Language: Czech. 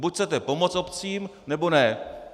Buď chcete pomoci obcím, nebo ne.